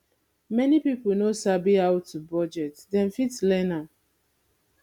many pipo no sabi how to bugdet dem fit learn am